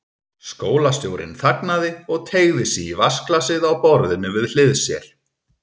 Skólastjórinn þagnaði og teygði sig í vatnsglasið á borðinu við hlið sér.